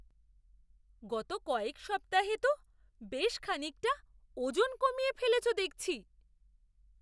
গত কয়েক সপ্তাহে তো বেশ খানিকটা ওজন কমিয়ে ফেলেছো দেখছি!